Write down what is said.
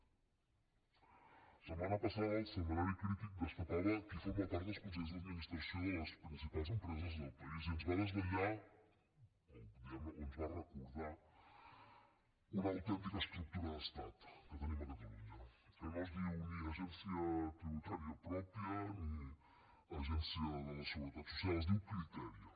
la setmana passada el setmanari crític destapava qui forma part dels consells d’administració de les principals empreses del país i ens va desvetllar o diguem ne ens va recordar una autèntica estructura d’estat que tenim a catalunya que no es diu ni agència tributària pròpia ni agència de la seguretat social es diu criteria